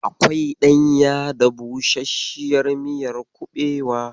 Akwai ɗanya da busasshiyar miyar kuɓewa.